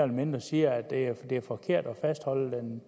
mindre siger at det er forkert at fastholde den